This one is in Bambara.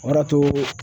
O b'a to